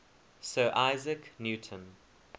sir isaac newton